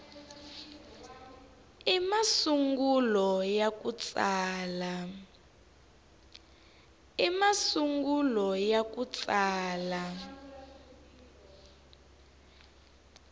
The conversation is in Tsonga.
i masungulo ya ku tsala